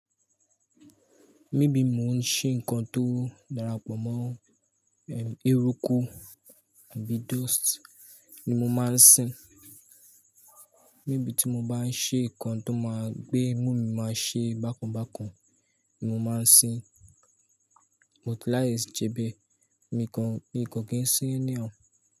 Mebí mò ń ṣe nǹkan tó darapọ̀ mọ́, eh, ẹrúkú, àbí dust ni mo máa ń sìn. Mẹ́bí tí mo bá ń ṣe nǹkan tó máa gbé mú mi máa ṣe bákun bákun ni mo máa ń sìn. But lies jẹ́ bí, mi kan, mi kò kí ń sìn ẹni ao.